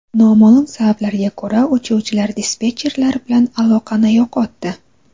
Noma’lum sabablarga ko‘ra uchuvchilar dispetcherlar bilan aloqani yo‘qotdi.